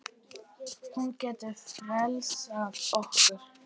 Hún getur frelsað okkur.